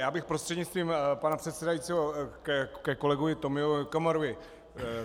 Já bych prostřednictvím pana předsedajícího ke kolegovi Tomio Okamurovi.